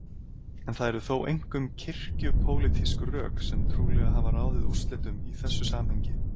En það eru þó einkum kirkju-pólitísk rök sem trúlega hafa ráðið úrslitum í þessu samhengi.